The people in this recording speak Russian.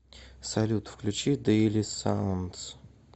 салют включи дэйли саундз